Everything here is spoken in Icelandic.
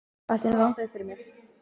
Allt í einu rann það upp fyrir mér.